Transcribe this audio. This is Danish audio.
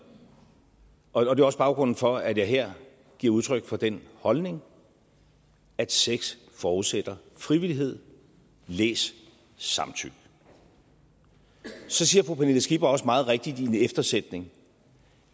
og det er også baggrunden for at jeg her giver udtryk for den holdning at sex forudsætter frivillighed læs samtykke så siger fru pernille skipper også meget rigtigt i en eftersætning